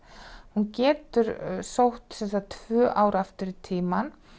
hún getur sótt tvö ár aftur í tímann